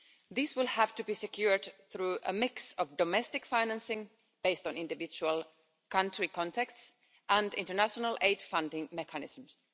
This will have to be secured through a mix of domestic financing based on individual country contexts, and international aid funding mechanisms.